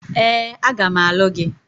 Ee, a ga m alụ gị.